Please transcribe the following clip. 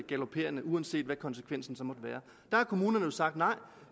uanset hvad konsekvensen så måtte være har kommunerne jo sagt nej